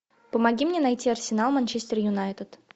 помоги мне найти арсенал манчестер юнайтед